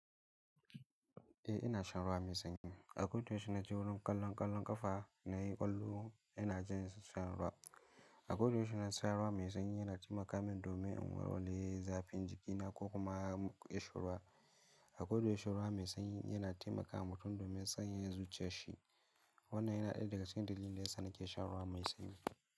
Eh ina shan ruwa mai sanyi. Akodayaushe innaje wurin ƙallon ƙallon ƙafa na yi ƙwallo yana jan shan ruwa. Akodayaushe idan nasharuwa mai sanyi yana taimakamin domin inwarware za fi jikina ko kuma kishin ruwa. Akodayaushe ruwa mai sanyi yana taimakawa mutum domin sanya ya zuciya shi. Wannan yana ɗaya dagacikin dalilindaya sa na ke shan ruwa mai sanyi.